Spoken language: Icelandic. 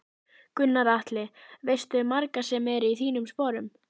Gunnar Atli: Veistu um marga sem eru í þínum sporun?